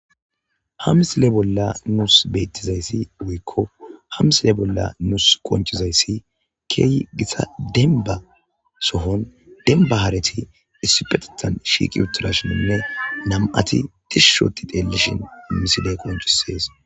hamsile bolla nuus bettizayssi wuykko hamsile bolla nuus qonchizayssi key gisa denba sohon denba hareti issupetethan shiiqi utturashininne nam7ati dishushoti deelishin miside qoncisees